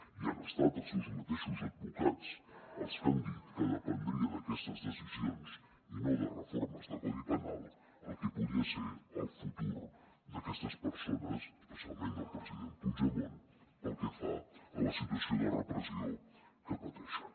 i han estat els seus mateixos advocats els que han dit que dependria d’aquestes decisions i no de reformes del codi penal el que podia ser el futur d’aquestes persones especialment del president puigdemont pel que fa a la situació de repressió que pateixen